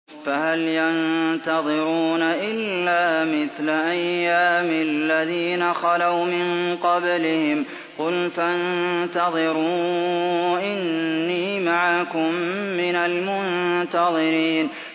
فَهَلْ يَنتَظِرُونَ إِلَّا مِثْلَ أَيَّامِ الَّذِينَ خَلَوْا مِن قَبْلِهِمْ ۚ قُلْ فَانتَظِرُوا إِنِّي مَعَكُم مِّنَ الْمُنتَظِرِينَ